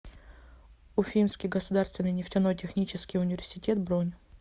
уфимский государственный нефтяной технический университет бронь